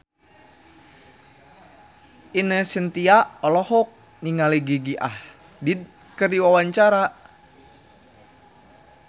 Ine Shintya olohok ningali Gigi Hadid keur diwawancara